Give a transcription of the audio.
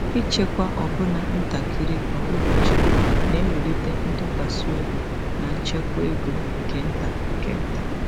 Ịchekwa ọbụna ntakịrị kwa ụbọchị na-ewulite ntụkwasị obi na nchekwa ego nke nta nke nta.